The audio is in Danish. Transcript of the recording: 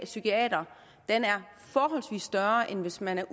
psykiater forholdsvis større end hvis man har